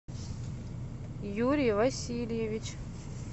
юрий васильевич